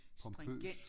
Pompøs